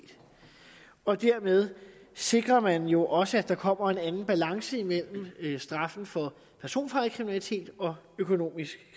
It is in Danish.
og dermed sikrer man jo også at der kommer en anden balance imellem straffen for personfarlig kriminalitet og økonomisk